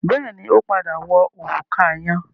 Bẹ́ẹ̀ni, ó padà wọ òrùka yẹn.